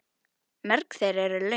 Mörg þeirra eru löng.